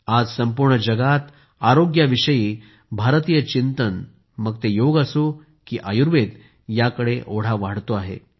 आज संपूर्ण जगात आरोग्याविषयी भारतीय चिंतन मग ते योग असो की आयुर्वेद याकडे ओढा वाढतो आहे